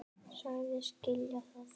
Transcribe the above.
Sagðist skilja það.